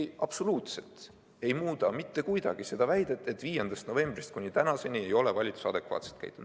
See absoluutselt ei muuda mitte kuidagi seda väidet, et 5. novembrist kuni tänaseni ei ole valitsus adekvaatselt käitunud.